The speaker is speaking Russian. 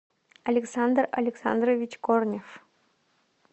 александр александрович корнев